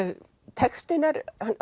textinn er